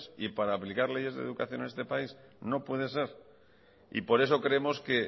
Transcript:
y para aplicar leyes de educación en este país no puede ser y por eso creemos que